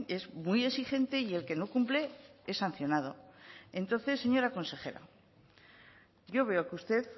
es muy exigente y el que no cumple es sancionado entonces señora consejera yo veo que usted